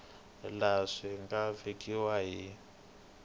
laha swi nga vekiwa hi